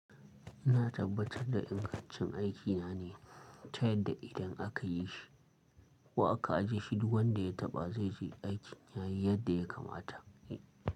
Ina tabbatar da ingancin aikina ne, ta yadda idan aka yi shi ko aka ajiye shi, duk wanda ya taɓa zai ji aikin ya yi yadda ya kamata.